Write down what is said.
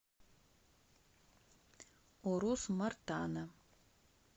урус мартана